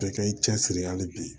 Bɛɛ kɛ i cɛsiri hali bi